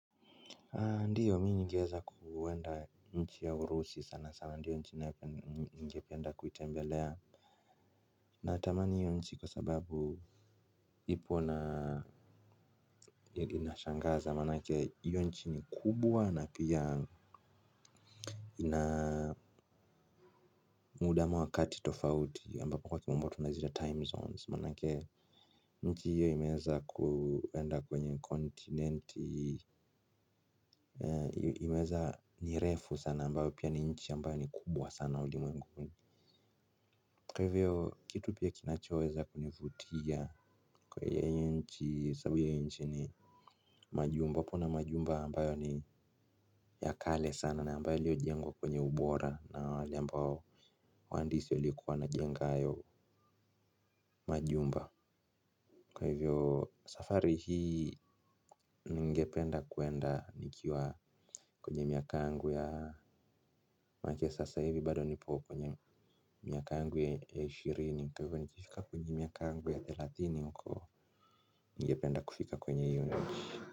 Ndiyo mi ningeweza kuenda nchi ya urusi sana sana sana ndiyo nchi ningependa kuitembelea. Na tamani hiyo nchi kwa sababu ipo na inashangaza manake hiyo nchi ni kubwa na pia ina muda ama wakati tofauti ambapo kwa kimombo tunaziita time zones manake hiyo inaeza kuenda kwenye kontinenti. Iweza ni refu sana ambapo pia ni nchi ambayo ni kubwa sana ulimwenguni. Kwa hivyo kitu pia kinachoweza kunivutia kwa hiyo nchi sababu hiyo nchi ni majumba wapo na majumba ambayo ni ya kale sana na ambayo iliyojengwa kwenye ubora na wale ambao wahandisi waliokuwa wanajenga hayo majumba. Kwa hivyo safari hii ningependa kuenda nikiwa kwenye miaka yangu ya make sasa hivi bado nipo kwenye miaka yangu ya ishirini kwa hivyo nikifika kwenye miaka yangu ya thelathini huko ningependa kufika kwenye hiyo nchi.